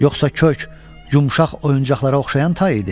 Yoxsa kök, yumşaq oyuncaqlara oxşayan tay idi?